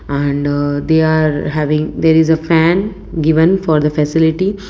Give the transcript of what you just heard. and they are having there is a fan given for the facility.